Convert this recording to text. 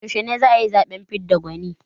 Yaushe za a yi zaɓen fidda gwani?